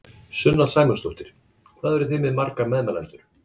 Sunna Sæmundsdóttir: Hvað eruð þið með marga meðmælendur?